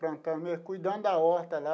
Plantando, cuidando da horta, lá.